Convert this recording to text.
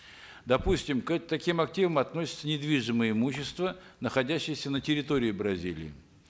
допустим к таким активам относится недвижимое имущество находящееся на территории бразилии